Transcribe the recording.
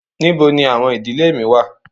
Nibo ni awọn idile mi wa?